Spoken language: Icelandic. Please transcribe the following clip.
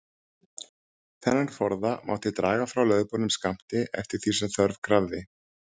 Þennan forða mátti draga frá lögboðnum skammti, eftir því sem þörf krafði.